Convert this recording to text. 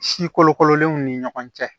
Si kolokololenw ni ɲɔgɔn cɛ